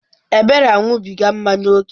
Ebere aṅụbiga mmanya ókè.